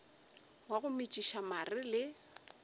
wa go metšiša mare le